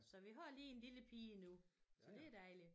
Så vi har lige en lille pige nu så det dejligt